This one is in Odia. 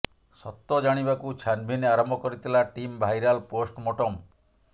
ସତ ଜାଣିବାକୁ ଛାନଭିନ୍ ଆରମ୍ଭ କରିଥିଲା ଟିମ୍ ଭାଇରାଲ୍ ପୋଷ୍ଟମୋର୍ଟମ୍